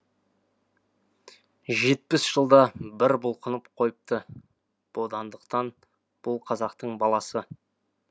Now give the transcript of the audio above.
жетпіс жылда бір бұлқынып қойыпты бодандықтан бұл қазақтың баласы